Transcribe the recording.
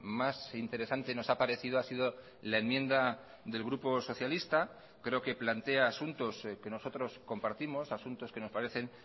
más interesante nos ha parecido ha sido la enmienda del grupo socialista creo que plantea asuntos que nosotros compartimos asuntos que nos parecen